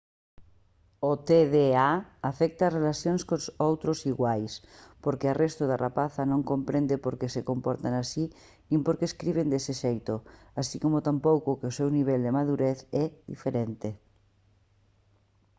o tda afecta ás relacións con outros iguais porque a resto da rapazada non comprende por que se comportan así nin por que escriben dese xeito así como tampouco que o seu nivel de madurez é diferente